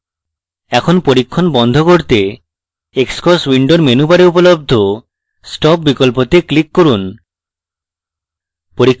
এখন পরীক্ষণ বন্ধ করতে xcos window menu bar উপলব্ধ stop বিকল্পতে click করুন